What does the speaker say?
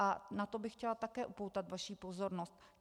A na to bych chtěla také upoutat vaši pozornost.